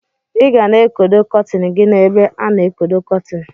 Igana ekodo kọtin gi na ebe ana ekodo kọtin.